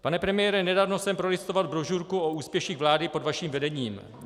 Pane premiére, nedávno jsem prolistoval brožurku o úspěších vlády pod vaším vedením.